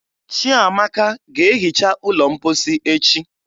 Chiamaka ga-ehicha ụlọ mposi echi